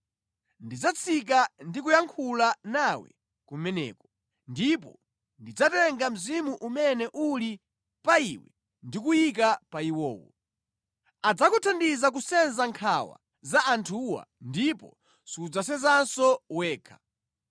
Ndidzatsika ndi kuyankhula nawe kumeneko, ndipo ndidzatenga mzimu umene uli pa iwe ndi kuyika pa iwowo. Adzakuthandiza kusenza nkhawa za anthuwa ndipo sudzasenzanso wekha.”